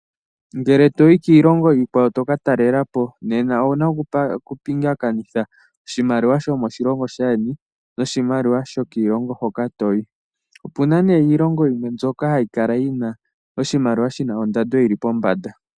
Ngele tokatalelapo kiilonga yimwe owuna oku pingakanitha oshimaliwa shomo shilongo sheni naashi shoko shilongo hoka toyi. Opuna née iilonga yimwe ndjoka hayi kala yina oshimaliwa shina ondando yili pombanda.